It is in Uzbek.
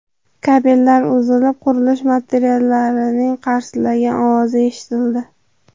Kabellar uzilib, qurilish materiallarining qarsillagan ovozi eshitildi.